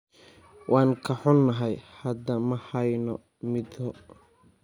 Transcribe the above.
Waan ka xunnahay, hadda ma hayno midho.